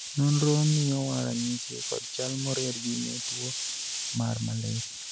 nonro miyowa ranyisi kod chal moriedgi ne tuo mar malaria